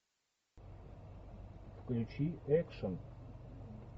включи экшн